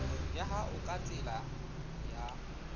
ya hao ka tsela ya